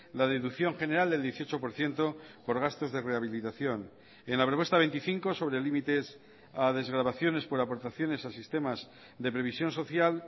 la deducción general del dieciocho por ciento por gastos de rehabilitación en la propuesta veinticinco sobre límites a desgravaciones por aportaciones a sistemas de previsión social